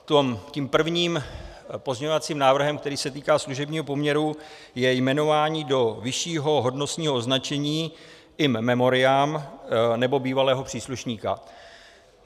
Tím prvním pozměňovacím návrhem, který se týká služebního poměru, je jmenování do vyššího hodnostního označení in memoriam nebo bývalého příslušníka.